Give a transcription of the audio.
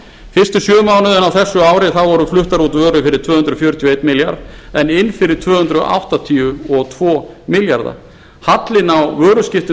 fyrstu sjö mánuðina á þessu ári voru fluttar út vörur fyrir tvö hundruð fjörutíu og einn milljarð en inn fyrir tvö hundruð áttatíu og tvo milljarða hallinn á vöruskiptum